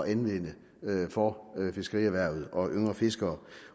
anvende for fiskerierhvervet og yngre fiskere